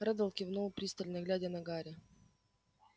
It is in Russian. реддл кивнул пристально глядя на гарри